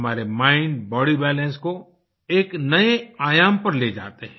हमारे mind body balance को एक नए आयाम पर ले जाते हैं